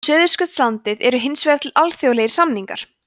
um suðurskautslandið eru hins vegar til alþjóðlegir samningar